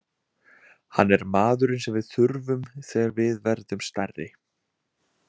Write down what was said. Hann er maðurinn sem við þurfum þegar við verðum stærri.